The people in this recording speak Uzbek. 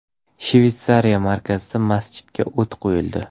Shvetsiya markazida masjidga o‘t qo‘yildi.